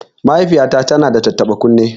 Mahaifiyata tana da tattaɓa kunne